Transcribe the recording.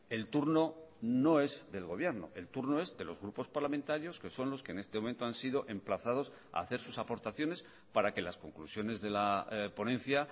el turno no es del gobierno el turno es de los grupos parlamentarios que son los que en este momento han sido emplazados a hacer sus aportaciones para que las conclusiones de la ponencia